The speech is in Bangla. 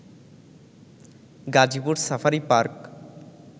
Gazipur safari park